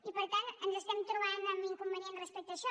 i per tant ens trobem amb inconvenients respecte a això